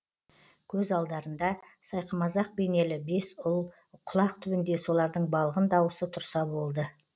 көз алдарында сайқымазақ бейнелі бес ұл құлақ түбінде солардың балғын дауысы тұрса болды